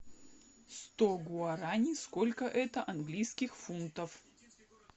сто гуарани сколько это английских фунтов